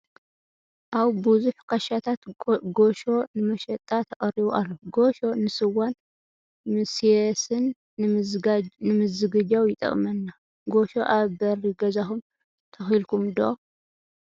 ኣብ ብዙሕ ክሻታት ጎሾ ንመሸጣ ተቀሪቡ ኣሎ ።ጎሾ ንስዋን ምሴስን ንምዝግጃው ይጠቅመና ። ጎሾ ኣብ በሪ ገዛኩም ተኪልኵመ ዶ ?